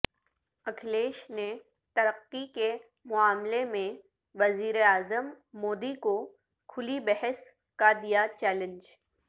اکھلیش نے ترقی کے معاملے میں وزیر اعظم مودی کو کھلی بحث کا دیا چیلنج